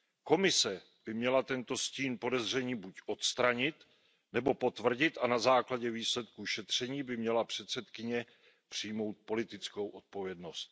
Komise by měla tento stín podezření buď odstranit, nebo potvrdit a na základě výsledků šetření by měla předsedkyně přijmout politickou odpovědnost.